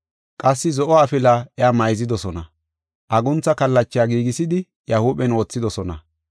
Qassi zo7o afila iya mayzidosona; aguntha kallacha giigisidi, iya huuphen wothidosona.